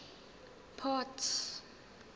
port